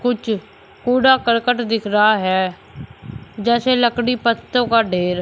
कूड़ा करकट दिख रहा है जैसे लकड़ी पत्तों का ढेर--